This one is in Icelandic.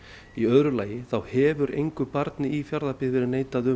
í öðru lagi þá hefur engu barni í Fjarðabyggð verið neitað um